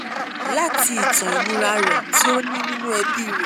lati itan inira re ti o ni ninu ebi re